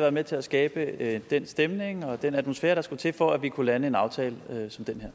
været med til at skabe den stemning og den atmosfære der skulle til for at vi kunne lande en aftale som den her